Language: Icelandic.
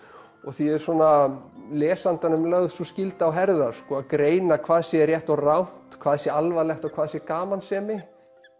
og því er lesandanum lögð sú skylda á herðar sko að greina hvað sé rétt og rangt hvað sé alvarlegt og hvað sé gamansemi